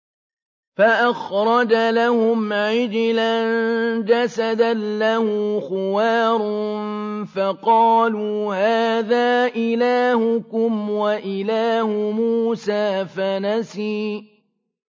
فَأَخْرَجَ لَهُمْ عِجْلًا جَسَدًا لَّهُ خُوَارٌ فَقَالُوا هَٰذَا إِلَٰهُكُمْ وَإِلَٰهُ مُوسَىٰ فَنَسِيَ